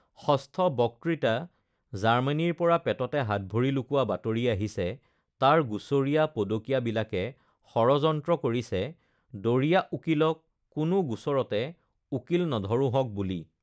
৬ষ্ঠ বক্তৃতা জাৰ্মেনীৰপৰা পেটতে হাত ভৰি লুকুৱা বাতৰি আহিছে তাৰ গুচৰীয়া পদকীয়াবিলাকে ষড়যন্ত্ৰ কৰিছে, দড়ীয়া উকীলক কোনো গোচৰতে উকীল নধৰোঁহক বুলি!